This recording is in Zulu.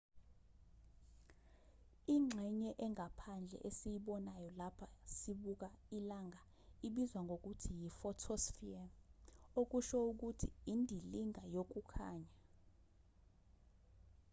ingxenye engaphandle esiyibonayo lapho sibuka ilanga ibizwa ngokuthi yi-photosphere okusho ukuthi indilinga yokukhanya